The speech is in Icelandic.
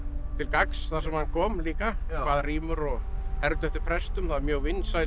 til gagns þar sem hann kom líka kvað rímur og hermdi eftir prestum það er mjög vinsæl